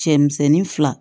Cɛmisɛnnin fila